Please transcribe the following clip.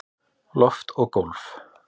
Loft og gólf